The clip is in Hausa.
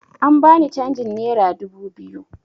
An bani canjin nera dubu biyu